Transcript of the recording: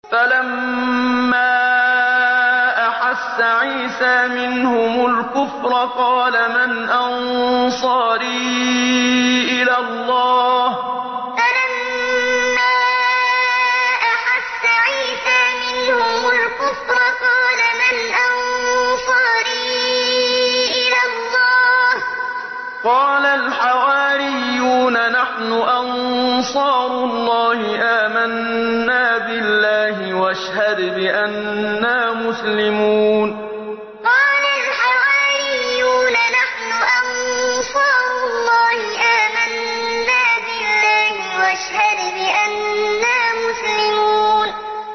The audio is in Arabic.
۞ فَلَمَّا أَحَسَّ عِيسَىٰ مِنْهُمُ الْكُفْرَ قَالَ مَنْ أَنصَارِي إِلَى اللَّهِ ۖ قَالَ الْحَوَارِيُّونَ نَحْنُ أَنصَارُ اللَّهِ آمَنَّا بِاللَّهِ وَاشْهَدْ بِأَنَّا مُسْلِمُونَ ۞ فَلَمَّا أَحَسَّ عِيسَىٰ مِنْهُمُ الْكُفْرَ قَالَ مَنْ أَنصَارِي إِلَى اللَّهِ ۖ قَالَ الْحَوَارِيُّونَ نَحْنُ أَنصَارُ اللَّهِ آمَنَّا بِاللَّهِ وَاشْهَدْ بِأَنَّا مُسْلِمُونَ